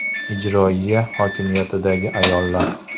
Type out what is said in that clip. Ijroiya hokimiyatidagi ayollar.